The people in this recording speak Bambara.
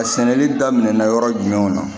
A sɛnɛli daminɛna yɔrɔ jumɛn na